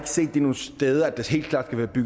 set nogen steder altså at der helt klart